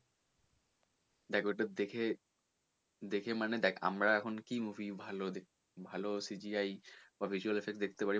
দেখ ওইটা দেখে দেখে মানে দেখ আমরা এখন কি movie ভালো কি ভালো asset গুলো দেখতে পারি